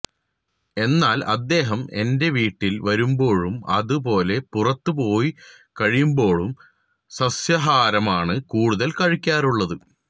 എന്നാൽ അദ്ദേഹം എന്റെ വീട്ടിൽ വരുമ്പോഴും അതു പോലെ പുറത്തു പോയി കഴിക്കുമ്പോഴും സസ്യാഹാരമാണ് കൂടുതൽ കഴിക്കാറുള്ളത്